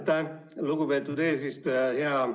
Aitäh, lugupeetud eesistuja!